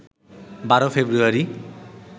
১২ ফেব্রুয়ারি